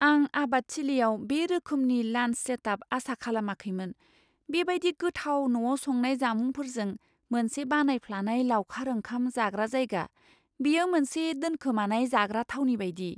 आं आबादथिलियाव बे रोखोमनि लान्स सेटआप आसा खालामाखैमोन, बेबादि गोथाव न'आव संनाय जामुंफोरजों मोनसे बानायफ्लानाय लावखार ओंखाम जाग्रा जायगा! बेयो मोनसे दोनखोमानाय जाग्रा थावनि बायदि!